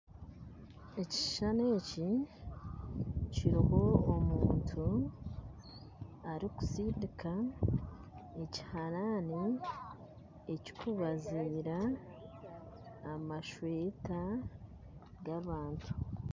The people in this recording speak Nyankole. Ekishishani eki kiriho omuntu arikusindika ekiharaani ekirikubaziira amashweta g'abantu